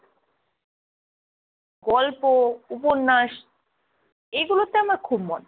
গল্প, উপন্যাস এগুলোতে আমার খুব মন।